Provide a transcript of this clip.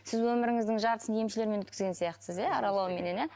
сіз өміріңіздің жартысын емшілермен өткізген сияқтысыз иә аралауменен иә